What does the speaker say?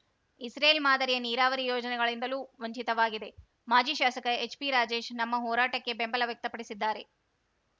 Israel ಮಾಧರಿಯ ನೀರಾವರಿ ಯೋಜನೆಗಳಿಂದಲೂ ವಂಚಿತವಾಗಿದೆ ಮಾಜಿ ಶಾಸಕ ಎಚ್‌ಪಿರಾಜೇಶ್‌ ನಮ್ಮ ಹೋರಾಟಕ್ಕೆ ಬೆಂಬಲ ವ್ಯಕ್ತ ಪಡಿಸಿದ್ದಾರೆ